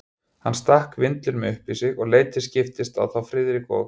Hann stakk vindlinum upp í sig og leit til skiptis á þá Friðrik og